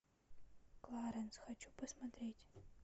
кларенс хочу посмотреть